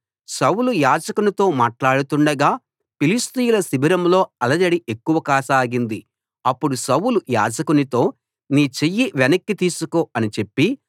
సౌలు యాజకునితో మాట్లాడుతుండగా ఫిలిష్తీయుల శిబిరంలో అలజడి ఎక్కువ కాసాగింది అప్పుడు సౌలు యాజకునితో నీ చెయ్యి వెనక్కి తీసుకో అని చెప్పి